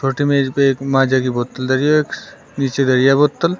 छोटे मेज पे एक माजा की बोतल धरी है एक नीचे गई है बोतल ।